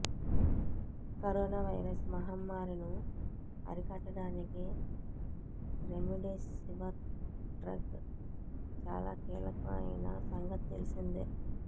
corona virus మహమ్మారి ను అరికట్టడానికి రెమెడీసివిర్ డ్రగ్ చాలా కీలకం అయిన సంగతి తెలిసిందే